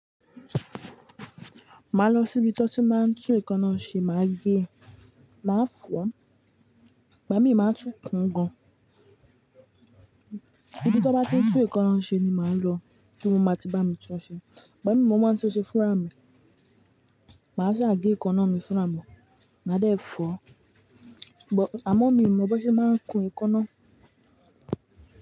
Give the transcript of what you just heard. Máa lọ sí ibi tí wọ́n ti máa ń tún èékánná ṣe, màá gé, má fọ̀ ọ́, igba mi máa ń tún kun gan. Ibi tí wọ́n bá ti ń tún èékánná ṣe ni màá lọ tí wọ́n máa ti bá mi tún ṣe. Igba mi mo máa ń tún ṣe fúnra mi. Maa ṣa ge èékánná mi fúnra mi, maa dẹ fọọ, amọ mi o mọ bí wọn se maan kún èékánná.